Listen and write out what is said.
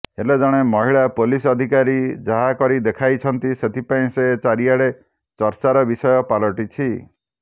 ହେଲେ ଜଣେ ମହିଳା ପୋଲିସ ଅଧିକାରୀ ଯାହା କରିଦେଖାଇଛନ୍ତି ସେଥିପାଇଁ ସେ ଚାରିଆଡେ ଚର୍ଚ୍ଚାର ବିଷୟ ପାଲଟିଛି